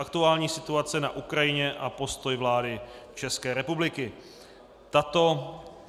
Aktuální situace na Ukrajině a postoj vlády České republiky